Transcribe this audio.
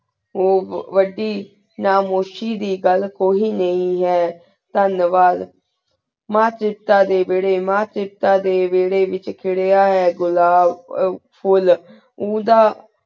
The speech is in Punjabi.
ਉਵਾਦੀ ਖਾਮੁਸ਼ੀ ਦੀ ਘਾਲ ਕੋਈ ਨੀ ਹੈਂ ਤੇੰਵਾਦ ਮਾਨ ਸੇਸ੍ਤਾਨ ਡੀ ਵੇਰੀ ਮਾਨ ਸੀਸਤਾਨ ਡੀ ਵੇਰੀ ਵੇਚ ਖੇਰਾਹਨ ਹੈਂ ਘੁਲਾਬ ਫੁਲ ਉੜਾ